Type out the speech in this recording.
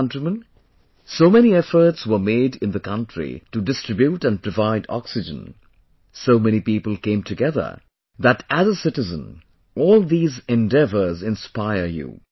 My dear countrymen, so many efforts were made in the country to distribute and provide oxygen, so many people came together that as a citizen, all these endeavors inspire you